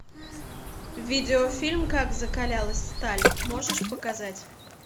видеофильм как закалялась сталь можешь показать